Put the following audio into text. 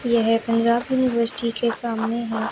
यह पंजाब यूनिवर्सिटी के सामने है।